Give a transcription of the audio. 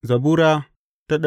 Zabura Sura